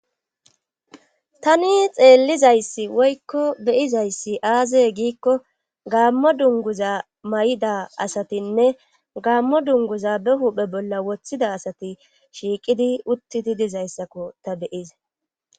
tani xeellizayssi woykko beyizayssi aaze giikko gaammo dunguza may7ida asatinne gaammo dunguza be huphe bolla woththida asati shiiqidi uttidi dizayssakko ta beyize